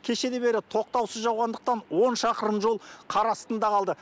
кешелі бері тоқтаусыз жауғандықтан он шақырым жол қар астында қалды